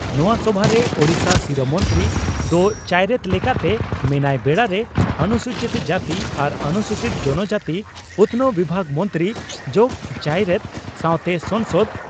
ᱱᱚᱣᱟ ᱥᱚᱵᱷᱟᱨᱮ ᱳᱰᱤᱥᱟ ᱥᱤᱨᱟᱹ ᱢᱚᱱᱛᱨᱤ ᱫᱚ ᱪᱟᱭᱨᱮᱛ ᱞᱮᱠᱟᱛᱮ ᱢᱮᱱᱟᱭ ᱵᱮᱲᱟᱨᱮ ᱚᱱᱥᱩᱪᱤᱛ ᱡᱟᱹᱛᱤ ᱟᱨ ᱚᱱᱩᱥᱩᱪᱤᱛ ᱡᱚᱱᱚᱡᱟᱹᱛᱤ ᱩᱛᱷᱱᱟᱹᱣ ᱵᱤᱵᱷᱟᱜᱽ ᱢᱚᱱᱛᱨᱤ ᱡᱚᱜᱚ ᱪᱟᱭᱨᱮᱛ ᱥᱟᱣᱛᱮ ᱥᱟᱝᱥᱚᱫᱽ